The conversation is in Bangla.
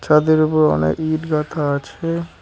ছাদের উপর অনেক ইট গাঁথা আছে।